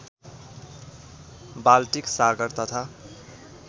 Baltic सागर तथा